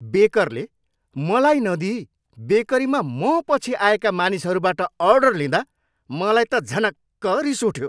बेकरले मलाई नदिइ बेकरीमा मपछि आएका मानिसहरूबाट अर्डर लिँदा मलाई त झनक्क रिस उठ्यो।